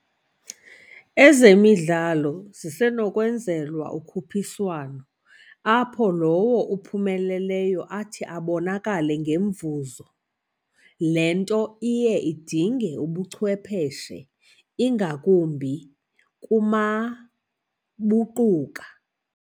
Ezemidlalo zisenokunzwelwa ukuphiswano, apho lowo uphumeleleyo athi abonakale ngomvuzo le nto iye idinge ubuchwepheshe ingakumbi kumabuquka